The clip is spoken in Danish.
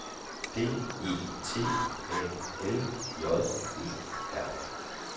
D E T A L J E R